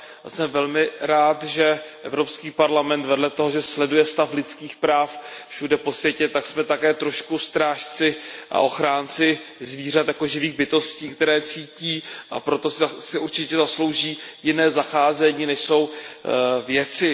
Jsem velmi rád, že Evropský parlament vedle toho, že sleduje stav lidských práv všude po světě, tak je také trošku strážcem a ochráncem zvířat jako živých bytostí, které cítí, a proto si určitě zaslouží jiné zacházení než věci.